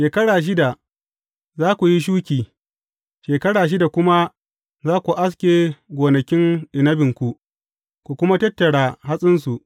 Shekara shida, za ku yi shuki, shekara shida kuma za ku aske gonakin inabinku, ku kuma tattara hatsinsu.